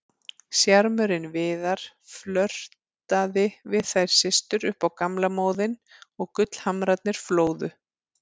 Sjarmörinn Viðar, flörtaði við þær systur upp á gamla móðinn og gullhamrarnir flóðu.